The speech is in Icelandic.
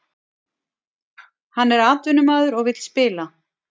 Hann er atvinnumaður og vill spila